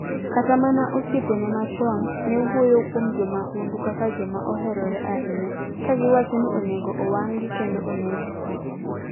Kata mana osiepene machon, ne wuoyo kuom jo mahundu kaka joma oherore ahinya, ka giwacho ni onego owang'gi kendo oneggi.